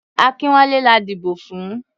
Akínwálé la dìbò fún.